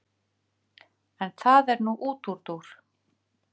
En það er nú útúrdúr.